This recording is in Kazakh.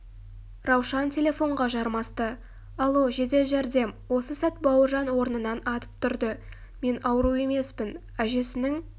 раушан телефонға жармасты алло жедел жәрдем осы сәт бауыржан орнынан атып тұрды мен ауру емеспін әжесінің